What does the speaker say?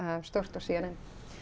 stórt og c n n